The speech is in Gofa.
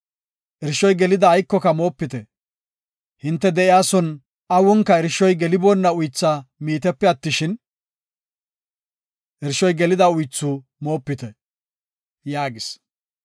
Irshoy gelidaba aykoka moopite. Hinte de7iyason awunka irshoy geliboonna uythu miitepe attishin, irshoy gelida uythu moopite” yaagis.